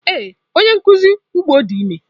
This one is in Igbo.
Ee, onye nkuzi ugbo di ime.